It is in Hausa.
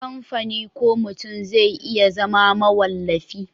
kamfani ko mutum zai iya zama mawallafi